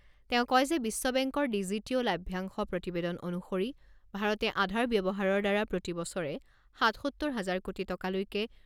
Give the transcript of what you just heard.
তেওঁ কয় যে বিশ্ব বেংকৰ ডিজিটিঅ' লাভ্যাংশ প্ৰতিবেদন অনুসৰি ভাৰতে আধাৰ ব্যৱহাৰৰ দ্বাৰা প্ৰতি বছৰে সাতসত্তৰ হাজাৰ কোটি টকালৈকে